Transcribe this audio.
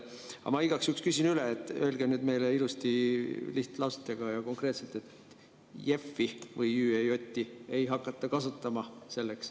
Aga ma igaks juhuks küsin üle, öelge meile ilusti lihtlausetega ja konkreetselt, et JEF‑i või ÜEJ‑i ei hakata kasutama selleks.